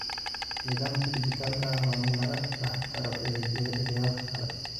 Nidaamka dhijitaalka ah waa in lagu dhex daro adeegyada kale.